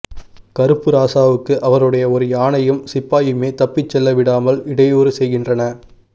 கருப்பு இராசாவுக்கு அவருடைய ஒரு யானையும் சிப்பாயுமே தப்பிச்செல்ல விடாமல் இடையூறு செய்கின்றன